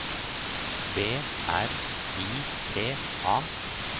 B R I T A